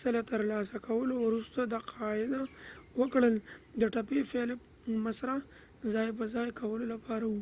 ځله ترلاسه کولو وروسته تقاعد وکړ، د ټپي فیلپ مسره ځای په ځای کولو لپاره و